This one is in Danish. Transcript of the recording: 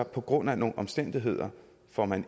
på grund af nogle omstændigheder hvor man